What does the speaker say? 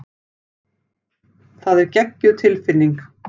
Það er geggjuð tilfinning.